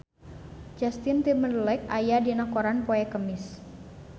Justin Timberlake aya dina koran poe Kemis